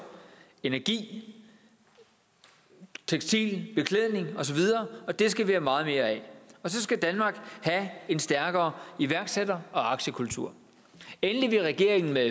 energi tekstil beklædning osv og det skal vi have meget mere af og så skal danmark have en stærkere iværksætter og aktiekultur endelig vil regeringen med